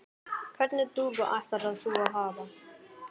Hvernig dúfu ætlar þú að hafa?